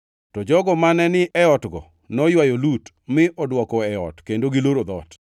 To jogo mane ni e otgo noywayo Lut mi odwoko e ot kendo giloro dhoot.